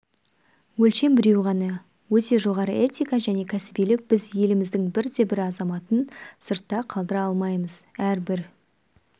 өлшем біреу ғана өте жоғары этика және кәсібилік біз еліміздің бірде-бір азаматын сыртта қалдыра алмаймыз әрбір